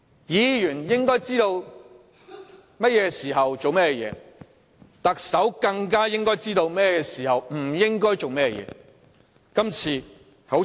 議員應該知道甚麼時候做甚麼事；特首更應該知道甚麼時候不應該做甚麼事。